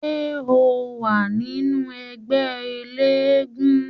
Ṣé ó wà nínú ẹgbẹ́ eléégún?